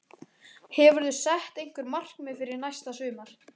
Hefurðu sett einhver markmið fyrir næsta sumar?